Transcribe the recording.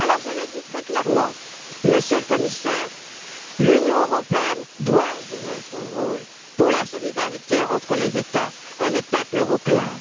Je le dis très clairement, Monsieur le Commissaire, l'Union européenne doit jouer son rôle pour la solidarité entre les États et les peuples européens.